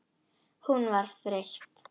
Hún var þreytt.